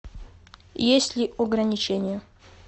есть ли ограничение